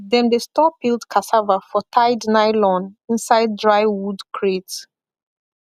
dem dey store peeled cassava for tied nylon inside dry wood crate